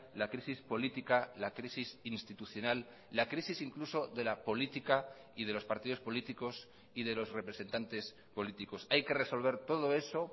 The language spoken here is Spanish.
la crisis política la crisis institucional la crisis incluso de la política y de los partidos políticos y de los representantes políticos hay que resolver todo eso